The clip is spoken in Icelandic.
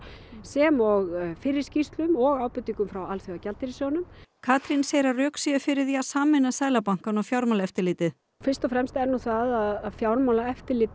sem og fyrri skýrslum og ábendingum frá Alþjóðagjaldeyrissjóðnum Katrín segir að rök séu fyrir því að sameina Seðlabankann og Fjármálaeftirlitið fyrst og fremst er nú það að fjármálaeftirlit